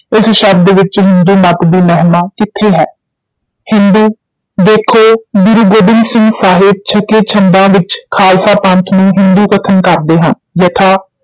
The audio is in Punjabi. ਇਸ ਸ਼ਬਦ ਵਿੱਚ ਹਿੰਦੂ ਮਤ ਦੀ ਮਹਿਮਾ ਕਿੱਥੇ ਹੈ, ਹਿੰਦੂ ਦੇਖੋ ਗੁਰੂ ਗੋਬਿੰਦ ਸਿੰਘ ਸਾਹਿਬ ਛੱਕੇ ਛੰਦਾਂ ਵਿੱਚ ਖਾਲਸਾ ਪੰਥ ਨੂੰ ਹਿੰਦੂ ਕਥਨ ਕਰਦੇ ਹਨ, ਯਥਾ